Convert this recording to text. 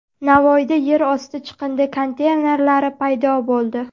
Navoiyda yer osti chiqindi konteynerlari paydo bo‘ldi .